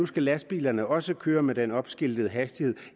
skal lastbilerne også køre med den opskiltede hastighed